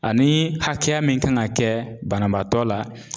Ani hakɛya min kan ka kɛ banabaatɔ la